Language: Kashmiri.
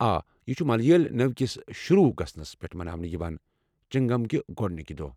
آ، یہِ چھُ ملیٲلہِ نوٚوِ كِس شروع گژھنَس پٮ۪ٹھ مناونہٕ یوان ، چِنگم کہِ گۄڈنكہِ دوہٕ ۔